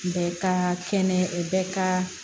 Bɛɛ ka kɛnɛ bɛɛ ka